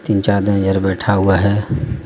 तीन चार बैठा हुआ हे.